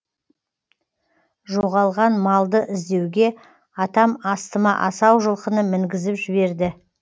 жоғалған малды іздеуге атам астыма асау жылқыны мінгізіп жіберді